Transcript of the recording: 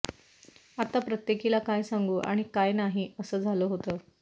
आता प्रत्येकीला काय सांगू आणि काय नाही असं झालं होतं